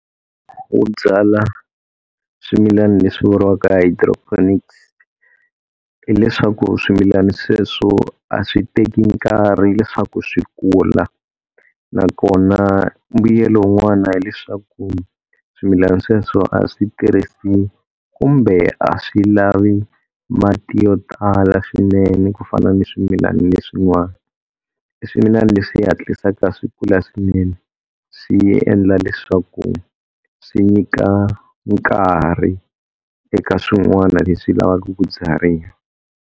Wo byala swimilani leswi vuriwaka hi hydroponics, hileswaku swimilana sweswo a swi teki nkarhi leswaku swi kula. Na kona mbuyelo wun'wana hileswaku swimilana sweswo a swi tirhisi kumbe a swi lavi mati yo tala swinene ku fana ni swimilana leswin'wana, i swimilana leswi hatlisaka swi kula swinene swi endla leswaku swi nyika nkarhi eka swin'wana leswi lavaka ku byariwa.